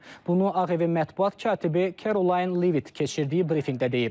Bunu Ağ evin mətbuat katibi Kerolin Levit keçirdiyi brifinqdə deyib.